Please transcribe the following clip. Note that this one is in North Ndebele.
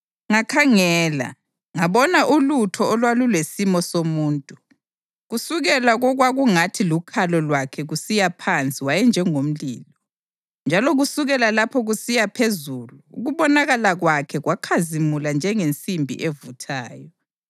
Ngakhangela, ngabona ulutho olwalulesimo somuntu. Kusukela kokwakungathi lukhalo lwakhe kusiya phansi wayenjengomlilo, njalo kusukela lapho kusiya phezulu ukubonakala kwakhe kwakhazimula njengensimbi evuthayo.